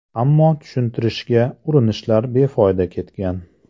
Ammo tushuntirishga urinishlar befoyda ketgan.